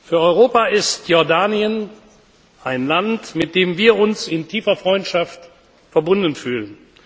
Für Europa ist Jordanien ein Land, mit dem wir uns in tiefer Freundschaft verbunden fühlen.